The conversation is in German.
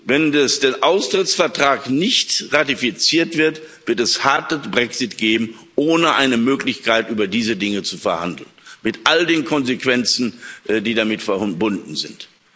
Wenn der Austrittsvertrag nicht ratifiziert wird, wird es einen harten Brexit geben ohne eine Möglichkeit, über diese Dinge zu verhandeln, mit all den Konsequenzen, die damit verbunden sind.